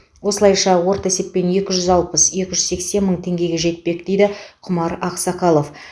осылайша орта есеппен екі жүз алпыс екі жүз сексен мың теңгеге жетпек дейді құмар ақсақалов